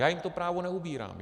Já jim to právo neupírám.